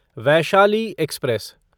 Vaishali express